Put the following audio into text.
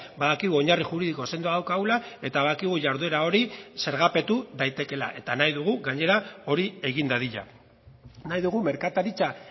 badakigu oinarri juridiko sendoa daukagula eta badakigu jarduera horiz zergapetu daitekeela eta nahi dugu gainera hori egin dadila nahi dugu merkataritza